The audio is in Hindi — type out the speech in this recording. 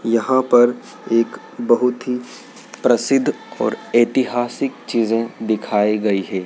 यहां पर एक बहुत ही प्रसिद्ध और ऐतिहासिक चीजें दिखाई गयी है।